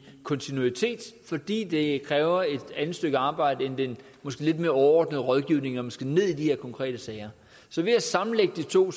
kontinuitet fordi det kræver et andet stykke arbejde end den måske lidt mere overordnede rådgivning når man skal ned i de her konkrete sager så ved at sammenlægge de to